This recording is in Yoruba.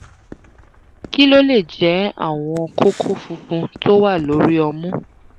kí ló lè jẹ́ àwọn kókó funfun tó wà lórí ọmú?